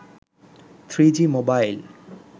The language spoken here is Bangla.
3g mobile